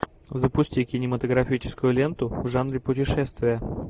запусти кинематографическую ленту в жанре путешествия